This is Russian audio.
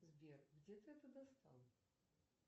сбер где ты это достал